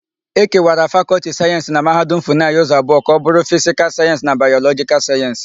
Ekewara Fakọltị Sayensị na Mahadum Funayị ụzọ abụọ ka ọbụrụ Fisikal Sayensị na Bayọlọjịkal Sayensị.